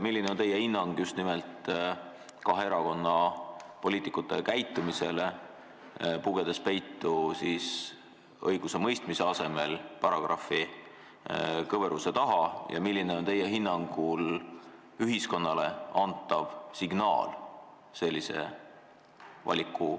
Milline on teie hinnang just nimelt kahe erakonna poliitikute käitumisele, kes pugesid õigusemõistmise asemel paragrahvikõveruse taha peitu, ja milline on teie hinnangul ühiskonnale sellise valikuga antav signaal?